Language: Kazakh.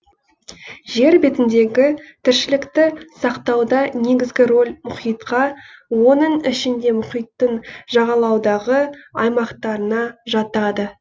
жер бетіндегі тіршілікті сақтауда негізгі роль мұхитқа оның ішінде мұхиттың жағалаудағы аймақтарына жатады